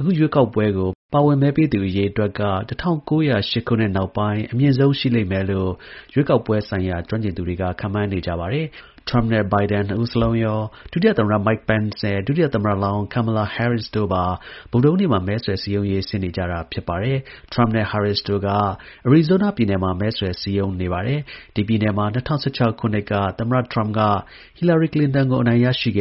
အခုရွေးကောက်ပွဲကို ပါဝင် မဲပေးသူ အရေအတွက်က ၁၉၀၈ခုနှစ် နောက်ပိုင်းအမြင့်ဆုံးရှိလိမ့်မယ်လို့ ရွေးကောက်ပွဲကျွမ်းကျင်သူတွေကခန့်မှန်းနေကြပါတယ်။ ၁၉၀၈ ခုနှစ်တုန်းက မဲပေးနိုင်သူ ၆၅ ရာခိုင်နှုန်းကျော် ပါဝင် မဲပေးခဲ့ကြတာပါ။ ထရမ့်နဲ့ Biden နှစ်ဦးစလုံးရော ဒုတိယ သမ္မတ Mike Pence နဲ့ ဒုတိယသမ္မတလောင်း Kamala Harris တို့ပါ ဗုဒ္ဓဟူးနေ့မှာ မဲဆွယ် စည်းရုံးရေး ဆင်းနေကြပါတယ်။ ထရမ့်နဲ့ Harris တို့က Arizona ပြည်နယ်မှာ မဲဆွယ် စည်းရုံးနေပါတယ်။ ဒီ ပြည်နယ်မှာ ၂၀၁၆ ခုနှစ်က သမ္မတ ထရမ့်က ဟီလာရီ ကလင်တန်ကို အနိုင်ရရှိခ